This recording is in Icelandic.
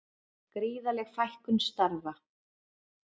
Gríðarleg fækkun starfa